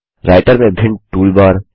writer में भिन्न tool बार